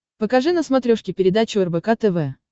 покажи на смотрешке передачу рбк тв